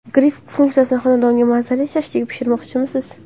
Gril funksiyasi Xonadonda mazali shashlik pishirmoqchimisiz?